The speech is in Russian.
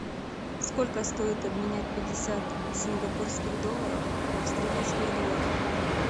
сколько стоит обменять пятьдесят сингапурских долларов в австралийских долларах